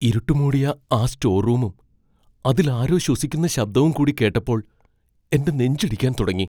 ഇരുട്ട് മൂടിയ ആ സ്റ്റോർ റൂമും അതിൽ ആരോ ശ്വസിക്കുന്ന ശബ്ദവും കൂടി കേട്ടപ്പോൾ എൻ്റെ നെഞ്ചിടിക്കാൻ തുടങ്ങി.